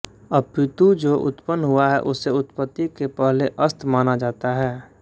अपितु जो उत्पन्न हुआ है उसे उत्पत्ति के पहले असत् माना जाता है